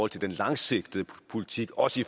til den langsigtede politik også i